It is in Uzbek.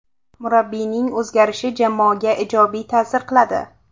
Murabbiyning o‘zgarishi jamoaga ijobiy ta’sir qiladi.